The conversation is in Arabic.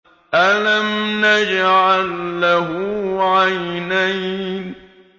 أَلَمْ نَجْعَل لَّهُ عَيْنَيْنِ